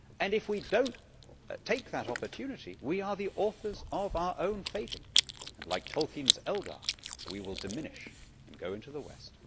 And if we do not take that opportunity, we are the authors of our own fate, and like Tolkien's Eldar we will diminish and go into the West.